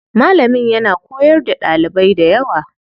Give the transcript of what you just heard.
Malamin yana koyar da ɗalibai dayawa.